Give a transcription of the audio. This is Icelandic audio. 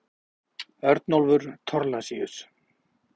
Örnólfur Thorlacius.